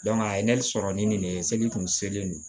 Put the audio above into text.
a ye ne sɔrɔ ni nin de ye seli kun selen